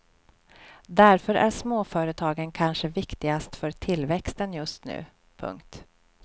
Därför är småföretagen kanske viktigast för tillväxten just nu. punkt